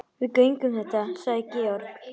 Við göngum þetta sagði Georg.